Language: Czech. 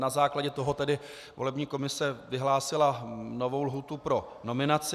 Na základě toho tedy volební komise vyhlásila novou lhůtu pro nominaci.